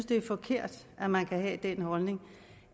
det er forkert at man kan have den holdning